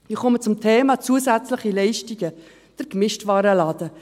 Ich komme zum Thema zusätzliche Leistungen, der Gemischtwarenladen: